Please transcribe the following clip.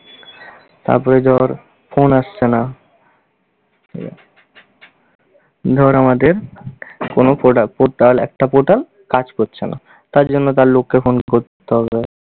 তারপরে ধর phone আসছে না, এর ধর আমাদের কোনো product protal একটা portal কাজ করছে না। তার জন্য তার লোককে phone করতে হবে।